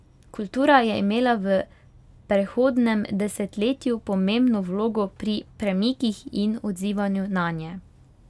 Kultura je imela v prehodnem desetletju pomembno vlogo pri premikih in odzivanju nanje.